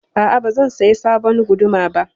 A'a, ba zan saya sabon guduma ba.